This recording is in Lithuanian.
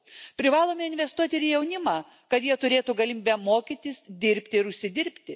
Privalome investuoti į jaunimą, kad jie turėtų galimybę mokytis, dirbti ir užsidirbti.